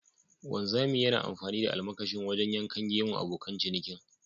Wanzami yana amfani da almakashi wajen yankan gemun abokan cinikin.